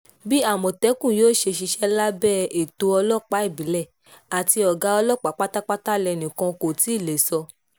bí àmọ̀tẹ́kùn yóò ṣe ṣiṣẹ́ lábẹ́ ètò ọlọ́pàá ìbílẹ̀ àti ọ̀gá ọlọ́pàá pátápátá lẹnì kan kò tí ì lè sọ